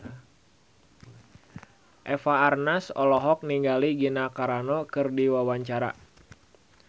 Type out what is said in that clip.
Eva Arnaz olohok ningali Gina Carano keur diwawancara